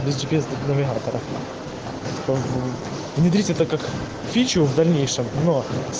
как ты что в дальнейшем но